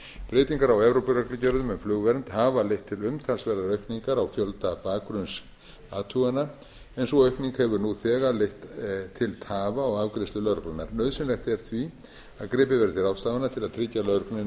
breytingar á evrópureglugerðum um flugvernd hafa leitt til umtalsverðrar aukningar á fjölda bakgrunnsathugana en sú aukning hefur nú þegar leitt til tafa á afgreiðslu lögreglunnar nauðsynlegt er því að gripið verði til ráðstafana til að tryggja lögreglunni nægjanlegt